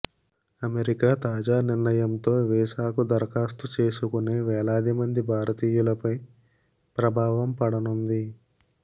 America తాజా నిర్ణయంతో వీసాకు దరాఖాస్తు చేసుకునే వేలాది మంది భారతీయు లపై ప్రభావం పడనుంది